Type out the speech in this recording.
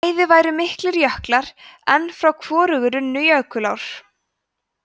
bæði væru miklir jöklar en frá hvorugu runnu jökulár